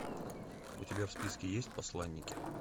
у тебя в списке есть посланники